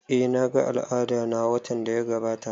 Eh na ga al'adana watan da ya gabata